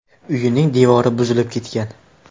Uyining devori buzilib ketgan.